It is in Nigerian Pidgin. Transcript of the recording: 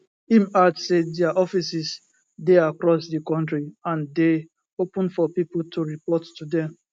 im add say dia offices dey cross di kontri and dey open for pipo to report to dem